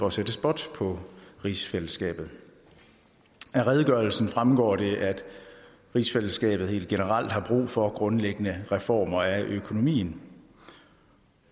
at sætte spot på rigsfællesskabet af redegørelsen fremgår det at rigsfællesskabet helt generelt har brug for grundlæggende reformer af økonomien